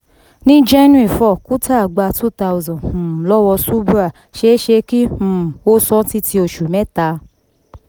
ní january four kuntal gba two thousand um lọ́wọ́ subhra ṣéṣé kí um ó san án títí oṣù méta.